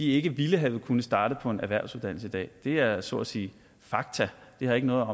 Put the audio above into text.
ikke ville have kunnet starte på en erhvervsuddannelse i dag det er så at sige fakta det handler